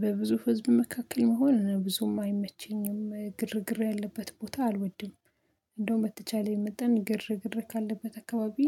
በብዙ ህዝብ መካከል መሆን ብዙም አይመቸኝም ግርግር ያለበት ቦታ አልወድም። እንደው መተቻለኝ መጠን ግርግር ካለበት አካባቢ